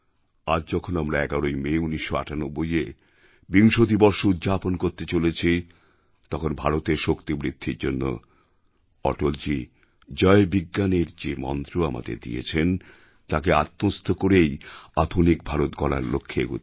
আজ যখন আমরা ১১ই মে ১৯৯৮এ বিংশতি বর্ষ উদ্যাপন করতে চলেছি তখন ভারতের শক্তিবৃদ্ধির জন্য অটলজী জয় বিজ্ঞানএর যে মন্ত্র আমাদের দিয়েছেন তাকে আত্মস্থ করেই আধুনিক ভারত গড়ার লক্ষ্যে এগোতে হবে